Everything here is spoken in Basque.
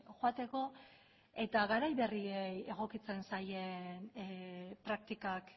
joateko eta garai berriei egokitzen zaie praktikak